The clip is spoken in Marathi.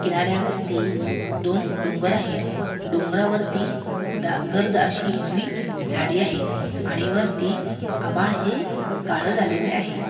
किनाऱ्यावरती दोन डोंगर आहे डोगरावरती गर्द अशी हीरवी झाडे आहे आणि वरी आभाळ हे काळे झालेले आहे.